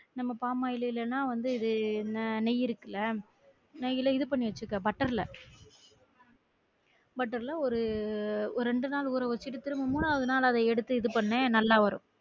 நம்ம palm oil இல்லனா வந்து இது அஹ் நெய் இருக்குல நெய் ல இது பன்னி வச்சிக்கோ butter ல butter ல ஒரு ஒரு ரெண்டு நாள் ஊற வச்சிட்டு திரும்ப மூணாவது நாள் அத எடுத்து இது பண்ணு நல்லா வரும்